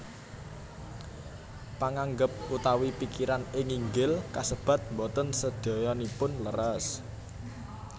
Panganggep utawi pikiran ing nginggil kasebat boten sadayanipun leres